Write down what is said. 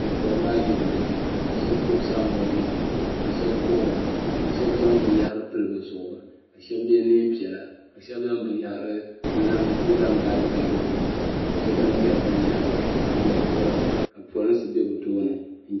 Bi tori la ayirimo ka shɛba gbubi saanboori nima ka shɛba kuhira ka shɛba zaŋ bin yahiri pili bi zuɣu ka shɛba yɛ niɛn piɛla ka shɛba zaŋ bin yahiri n zaŋ gaari gaari bi maŋa ka che ban ŋmeri bin yahiri ban yori vuri ka polinsi bɛ bi tooni.